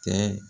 Kɛ